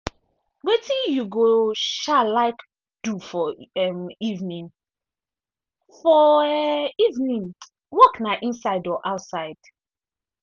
wetin you go um like do for um evening for um evening workna inside or outside.